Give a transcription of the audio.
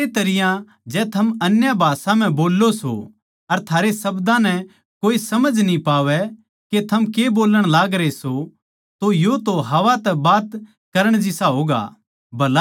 इस्से तरियां जै थम अन्य भाषा म्ह बोल्लों सों अर थारे शब्दां नै कोए समझ न्ही पावै के थम के बोल्लण लागरे सों तो यो तो हवा तै बात करण जिसा होगा